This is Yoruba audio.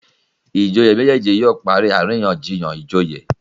ìjòyè méjèjì yóò parí àríyànjiyàn ìjòyè